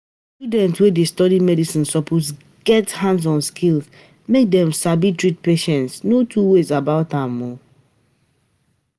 Students wey dey study medicine suppose get um hands-on skills make dem sabi treat patients. no two ways about am